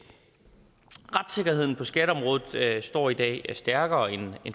retssikkerheden på skatteområdet står i dag stærkere end